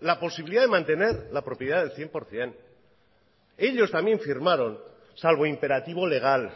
la posibilidad de mantener la propiedad del cien por ciento ellos también firmaron salvo imperativo legal